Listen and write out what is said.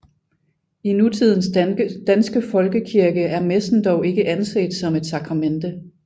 I nutidens danske folkekirke er messen dog ikke anset som et sakramente